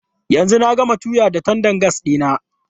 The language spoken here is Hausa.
Yanzu na gama tuya da tandan gas ɗina.